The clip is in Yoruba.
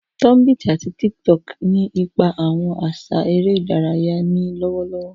Tunbit ati TikTok ni ipa awọn aṣa ere idaraya ni lọwọlọwọ.